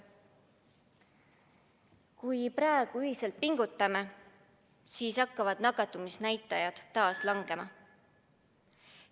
Kui praegu ühiselt pingutame, siis hakkavad nakatumisnäitajad taas langema.